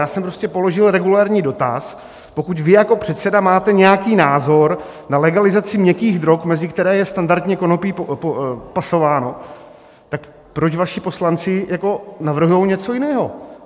Já jsem prostě položil regulérní dotaz, pokud vy jako předseda máte nějaký názor na legalizaci měkkých drog, mezi které je standardně konopí pasováno, tak proč vaši poslanci navrhují něco jiného.